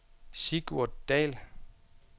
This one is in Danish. Sigurd Dall